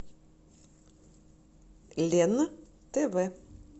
лен тв